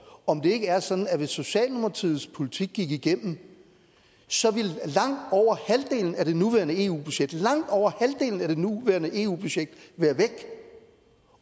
om det ikke er sådan at hvis socialdemokratiets politik gik igennem så ville langt over halvdelen af det nuværende eu budget langt over halvdelen af det nuværende eu budget være væk